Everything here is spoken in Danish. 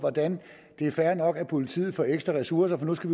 det er fair nok at politiet får ekstra ressourcer for nu skal